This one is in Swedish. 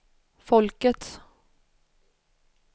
folkets